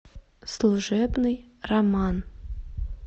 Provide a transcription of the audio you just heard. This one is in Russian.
служебный роман